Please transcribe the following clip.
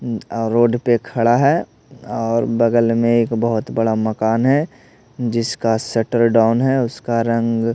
अह road पे खड़ा है और बगल में एक बहुत बड़ा मकान है जिसका शटर डाउन है उसका रंग--